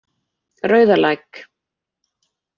Rauðalæk